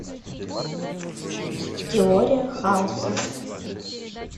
теория хаоса